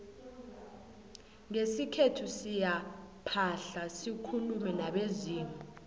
ngesikhethu siyaphahla sikulume nabezimu